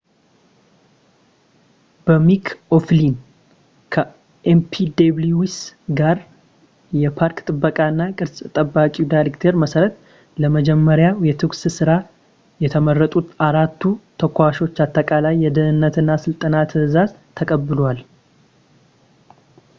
በሚክ ኦ'ፍሊን ከኤንፒደብሊውኤስ ጋር የፓርክ ጥበቃ እና ቅርስ ተጠባባቂ ዳይሬክተር መሰረት ለመጀመሪያው የተኩስ ስራ የተመረጡት አራቱ ተኳሾች አጠቃላይ የደህንነት እና ስልጠና ትዕዛዝ ተቀብለዋል